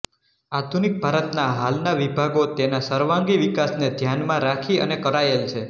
આધુનિક ભારતનાં હાલનાં વિભાગો તેનાં સર્વાંગી વિકાસને ધ્યાનમાં રાખી અને કરાયેલ છે